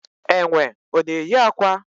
Enwe ọ na eyi akwa?